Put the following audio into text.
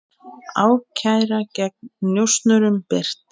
Ákæra gegn njósnurum birt